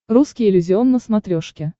русский иллюзион на смотрешке